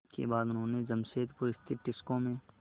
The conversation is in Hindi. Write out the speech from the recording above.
इसके बाद उन्होंने जमशेदपुर स्थित टिस्को में